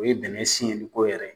O ye bɛnɛ siyɛnni ko yɛrɛ ye.